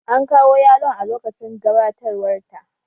An kawo yalon a lokacin gabatarwar ta